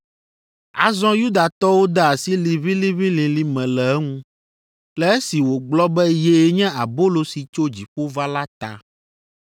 Azɔ Yudatɔwo de asi liʋĩliʋĩlilĩ me le eŋu, le esi wògblɔ be yee nye abolo si tso dziƒo va la ta.